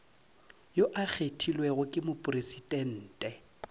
yo a kgethilwego ke mopresidente